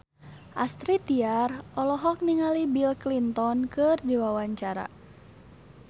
Astrid Tiar olohok ningali Bill Clinton keur diwawancara